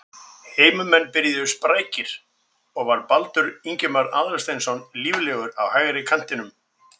Heimamenn byrjuðu sprækari og var Baldur Ingimar Aðalsteinsson líflegur á hægri kantinum.